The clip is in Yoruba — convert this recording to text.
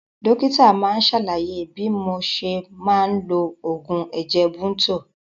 Dókítà máa sàlàyé bí mo ṣe máa lo oògùn ẹ̀jẹ̀ Bunto